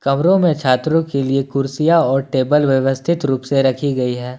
में छात्रों के लिए कुर्सियां और टेबल व्यवस्थित रूप से रखी गई है।